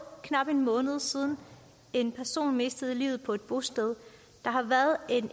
knap en måned siden en person mistede livet på et bosted der har været